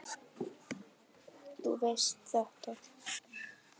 Þú veist þetta.